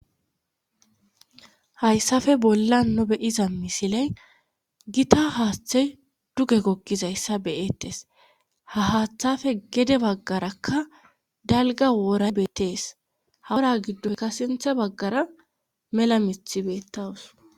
hayssafe bollan nu be'iza misiley gita haaththe duge gogizayssa be'ettes ha haaththafe gede baggarakka dalga woora bettees hawora giddoyka sintha baggara mela mithi beettawus